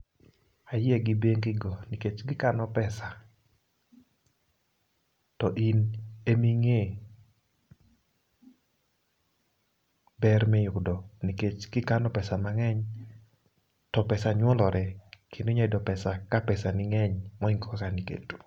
Ayie gi bengi go nikech gi kano pesa to in eming'e ber miyudo nikech kikano pesa mang'eny to pesa nyuolore kendo inya yudo pesa ka pesa ni ng'eny molo kaka niketo.